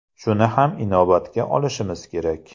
Shuni ham inobatga olishimiz kerak.